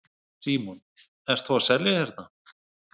Símon: Ert þú að selja hérna?